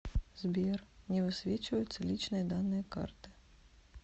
сбер не высвечиваются личные данные карты